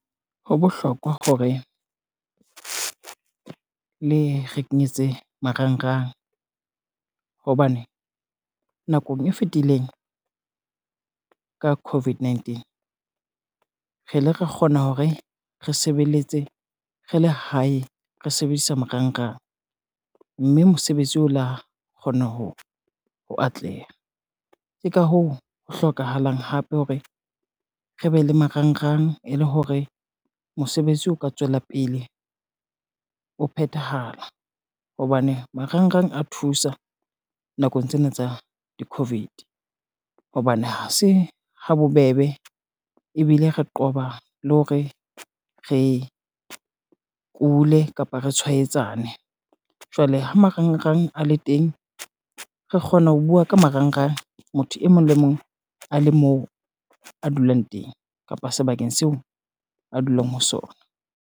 Ho bohlokwa hore, le re kenyetse marangrang hobane nakong e fetileng, ka COVID-19 re le re kgona hore re sebeletse re le hae re sebedisa marangrang, mme mosebetsi o lo kgona ho atleha. Ke ka hoo ho hlokahalang hape hore re be le marangrang e le hore mosebetsi o ka tswela pele o phethahala, hobane marangrang a thusa nakong tsena tsa di-COVID hobane ha se ha bo bebe ebile re qoba le hore re kule, kapa re tshwaetsane. Jwale ha marangrang a le teng, re kgona ho bua ka marangrang motho e mong le mong a le moo a dulang teng kapa sebakeng seo a dulang ho sona.